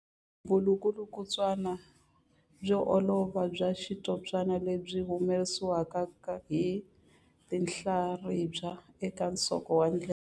Vulukulutswana byo olova bya xitshopana lebyi byi humesiwaka hi tinhlaribya eka nsoko wa ndleve.